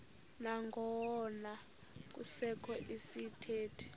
nangona kusekho izithethi